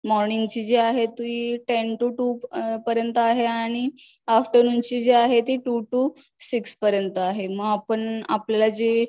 morning ची जी ती टेन टू टू पर्यंत आहे आणि आफ्टरनून चे जी आहे ती टू टू सिक्सपर्यंत आहे मग आपण आपल्याला जी